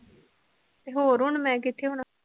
ਹੋਰ ਹੁਣ ਮੈ ਕਿਥੇ ਹੋਣਾ